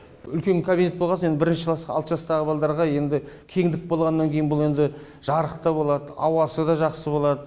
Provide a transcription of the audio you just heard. үлкен кабинет болғасын енді бірінші классқа алты жастағы балдарға енді кеңдік болғаннан кейін бұл енді жарық та болады ауасы да жақсы болады